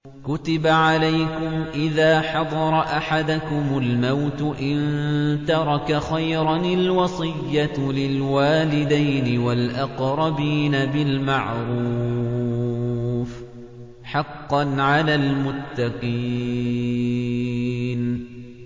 كُتِبَ عَلَيْكُمْ إِذَا حَضَرَ أَحَدَكُمُ الْمَوْتُ إِن تَرَكَ خَيْرًا الْوَصِيَّةُ لِلْوَالِدَيْنِ وَالْأَقْرَبِينَ بِالْمَعْرُوفِ ۖ حَقًّا عَلَى الْمُتَّقِينَ